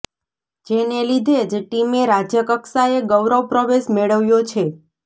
જેને લીધે જ ટીમે રાજ્યકક્ષાએ ગૌરવ પ્રવેશ મેળવ્યો છે